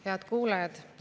Head kuulajad!